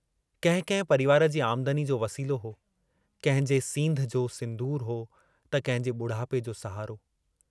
कहिं कंहिं परिवार जी आमदनी जो वसीलो हो कंहिंजे सींधं जो सिन्दूर हो, त कंहिंजे बुढापे जो सहारो।